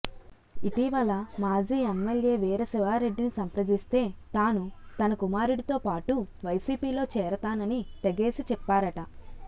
ఇటీవల మాజీ ఎమ్మెల్యే వీర శివారెడ్డిని సంప్రదిస్తే తాను తన కుమారుడితోపాటు వైసీపీలో చేరతానని తెగేసి చెప్పారట